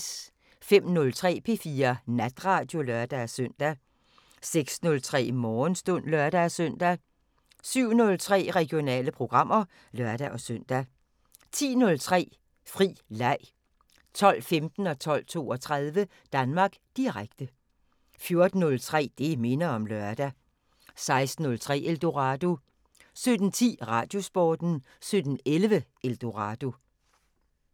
05:03: P4 Natradio (lør-søn) 06:03: Morgenstund (lør-søn) 07:03: Regionale programmer (lør-søn) 10:03: Fri leg 12:15: Danmark Direkte 12:32: Danmark Direkte 14:03: Det minder om lørdag 16:03: Eldorado 17:10: Radiosporten 17:11: Eldorado